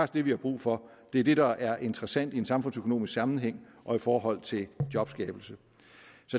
det vi har brug for det er det der er interessant i en samfundsøkonomisk sammenhæng og i forhold til jobskabelse